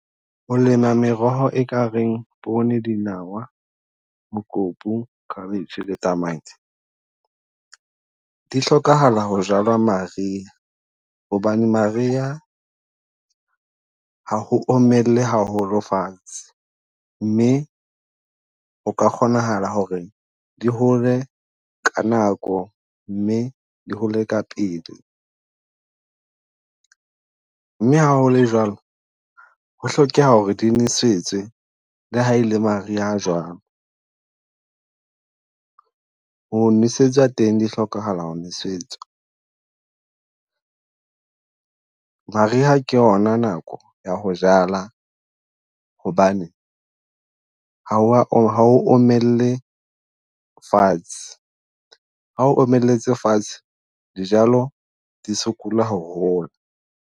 Ho lema meroho e ka reng pone, dinawa, mokopu, cabbage le tamati, di hlokahala ho jalwa maria. Hobane maria ha ho omelle haholo fatshe, mme o ka kgonahala ho re di hole ka nako mme di hole ka pele. Mme ha ho le jwalo, ho hlokeha ho re di nelwesetswe le ha e le maria a jwang. Ho nwesetswa teng di hlokahala ho nwesetswa, maria ke yona nako ya ho jala hobane ha o wa ha ho omelle fatshe. Ha o omelletse fatshe, dijalo di sokola ho hola.